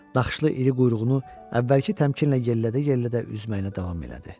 Naxışlı iri quyruğunu əvvəlki təmkinlə yellədə-yellədə üzməyinə davam elədi.